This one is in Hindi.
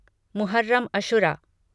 मुहर्रम अशुरा